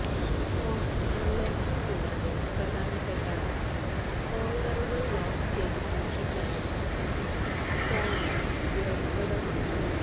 phone unlocking കൂടാതെ പ്രധാനപ്പെട്ട ഫോള്ഡറുകള് ലോക്ക് ചെയ്ത സൂക്ഷിക്കാനും സ്കാനര് ഉപയോഗപ്രദമാണ്